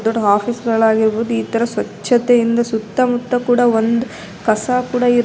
ದೊಡ್ಡ್ ಆಫೀಸ್ ಗಳಾಗಿರಬಹುದು ಇತರ ಸ್ವಚ್ಛತೆಯಿಂದ ಸುತ್ತ ಮುತ್ತ ಒಂದ್ ಕಸ ಕೂಡ --